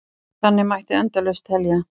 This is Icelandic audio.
Þannig mætti endalaust telja.